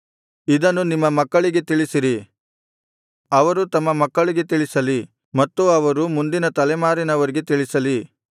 ಇದನ್ನು ನಿಮ್ಮ ಮಕ್ಕಳಿಗೆ ತಿಳಿಸಿರಿ ಅವರು ತಮ್ಮ ಮಕ್ಕಳಿಗೆ ತಿಳಿಸಲಿ ಮತ್ತು ಅವರು ಮುಂದಿನ ತಲೆಮಾರಿನವರಿಗೆ ತಿಳಿಸಲಿ